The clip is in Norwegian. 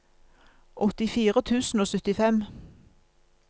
åttifire tusen og syttifem